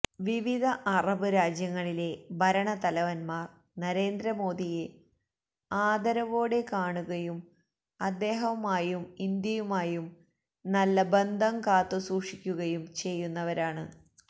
വിവിധ അറബ് രാജ്യങ്ങളിലെ ഭരണത്തലവന്മാര് നരേന്ദ്രമോദിയെ ആദരോവോടെ കാണുകയും അദ്ദേഹവുമായും ഇന്ത്യയുമായും നല്ലബന്ധം കാത്തുസൂക്ഷിക്കുകയും ചെയ്യുന്നവരാണ്